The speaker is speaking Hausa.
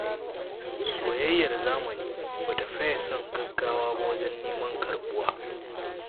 Soyayyar zamani ba ta faye son gaggawa ba wajen neman karɓuwa.